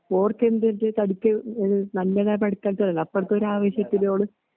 ഓടുത്തെന്റെതടിച്ച് നല്ലതാ പഠിക്കാത്തതാ അപ്പറത്തൊരാവേശത്തിലോള്